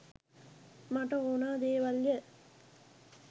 මට ඕනා දේවල්ය